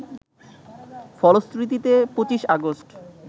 ফলশ্রুতিতে ২৫ আগস্ট